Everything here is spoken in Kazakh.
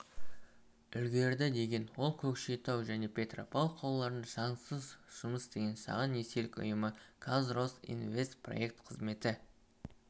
үлгерді деген ол көкшетау және петропавл қалаларында заңсыз жұмыс істеген шағын несие ұйымы казросинвестпроект қызметі